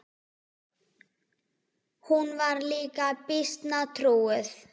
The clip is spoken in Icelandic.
Hún var líka býsna trúuð.